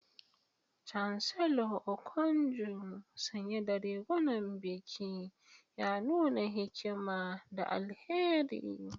Chancellor Okonjo, sanye da rigunan biki, ya nuna hikima da alheri.